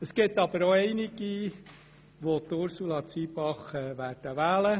Es gibt aber auch einige, welche Ursula Zybach wählen werden.